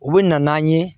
U bɛ na n'an ye